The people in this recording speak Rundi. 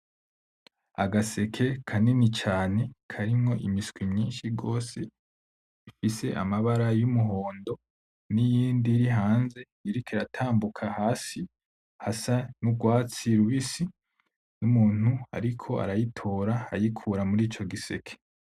Agaseke kanini cane karimwo imiswi myinshi gose, ifise amabara y’umuhondo, niyindi iri hanze iriko iratambuka hasi hasa nurwatsi rubisi. Numuntu ariko arayitora ayikura murico giseke.